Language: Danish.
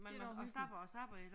Det da også hyggeligt